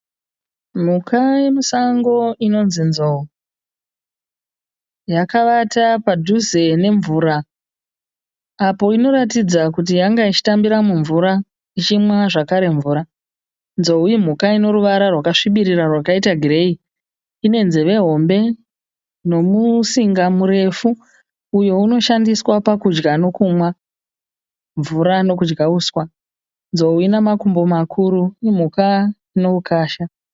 Mhuka yemusango inonzi nzou yakavata padhuze nemvura apo inoratidza kuti yanga ichitambira mumvura ichimwa zvakare mvura, nzou imhuka inoruvara rwakasvibirira rwakaita gireyi ine nzeve hombe nomusinga murefu uyo unoshandiswa pakudya nokumwa mvura nokudya uswa nzou ina makumbo makuru imhuka ino ukasha.